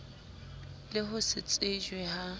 le ho se tsejwe ha